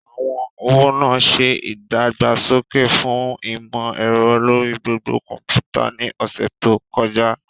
Àwọn ọ̀wọ́ náà ṣe ìdàgbàsókè fún ìmò ẹ̀rọ lórí gbogbo kọ̀ḿpútà ní ọ̀sẹ̀ tó kọjá